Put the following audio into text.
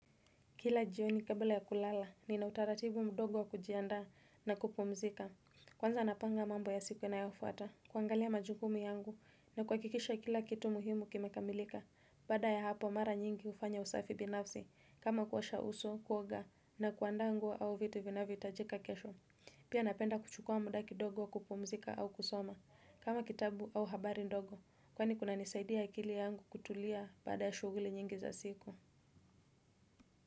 Kila jioni kabla ya kulala nina utaratibu mdogo wa kujianda na kupumzika. Kwanza napanga mambo ya siku inayofwata, kuangalia majukumu yangu na kuhakikisha kila kitu muhimu kimekamilika. Baada ya hapo mara nyingi hufanya usafi binafsi. Kama kuosha uso, kuoga na kuandaa nguo au vitu vinavyohitajika kesho. Pia napenda kuchukua muda kidogo kupumzika au kusoma kama kitabu au habari ndogo. Kwani kunanisaidia akili yangu kutulia baada ya shughuli nyingi za siku.